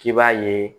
K'i b'a ye